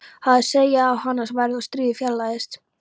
Það seig á hana værð og stríðið fjarlægðist.